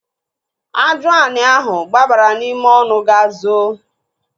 Ajụani ahụ gbabara n'ime ọnụ ga zoo.